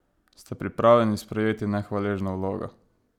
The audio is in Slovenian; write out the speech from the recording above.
Ste pripravljeni sprejeti nehvaležno vlogo?